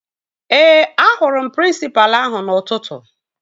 Ee, ahụrụ m prịnsịpalụ ahụ n'ụtụtụ